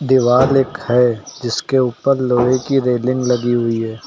दीवाल एक है जिसके ऊपर लोहे की रेलिंग लगी हुई है।